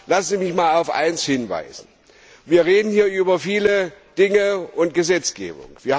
Lassen Sie mich auf eines hinweisen Wir reden hier über viele Dinge und die Gesetzgebung.